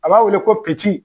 A b'a wele ko